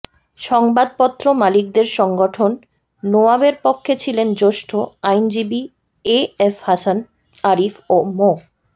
সংবাদপত্র মালিকদের সংগঠন নোয়াবের পক্ষে ছিলেন জ্যেষ্ঠ আইনজীবী এ এফ হাসান আরিফ ও মো